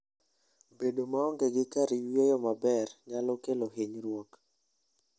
Bedo maonge gi kar yueyo maber nyalo kelo hinyruok.